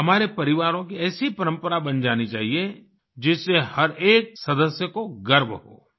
हमारे परिवारों की ऐसी परंपरा बन जानी चाहिए जिससे हर एक सदस्य को गर्व हो